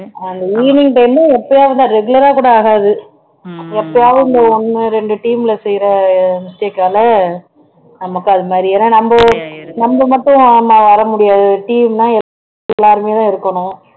அந்த evening உம் எப்பையாவது தான் regular ஆ கூட ஆகாது எப்போதாவது இந்த ஒண்ணு ரெண்டு team ல செய்யுற mistake ஆல நமக்கு அது மாதிரி ஏன்னா நம்ம நம்ம மட்டும் நம்ம வர முடியாது team னா எல்லாருமே தான் இருக்கணும்